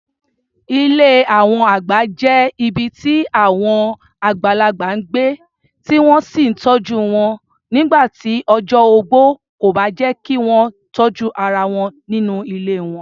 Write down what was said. Ilé àwọn àgbà jẹ́ ibi tí àwọn àgbàlagbà ń gbé, tí wọ́n sì ń tọ́jú wọn nígbà tí ọjọ́ ogbó kò bá jẹ́ kí wọ́n tọ́jú ara wọn nínú ilé wọn.